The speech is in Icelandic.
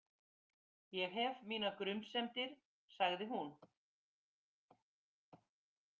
Ég hef mínar grunsemdir, sagði hún.